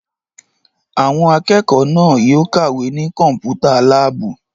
Àwọn akẹ́kọ̀ọ́ náà yóò kàwé ní Kọ́mpútà láàbù!